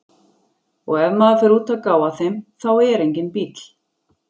Og ef maður fer út að gá að þeim, þá er enginn bíll.